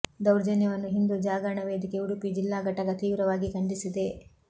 ದೌರ್ಜನ್ಯವನ್ನು ಹಿಂದು ಜಾಗರಣ ವೇದಿಕೆ ಉಡುಪಿ ಜಿಲ್ಲಾ ಘಟಕ ತೀವ್ರವಾಗಿ ಖಂಡಿಸಿದೆ